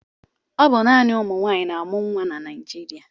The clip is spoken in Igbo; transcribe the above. Ọ bụ naanị ụmụnwaanyị na-amụ nwa na Naịjịrịa.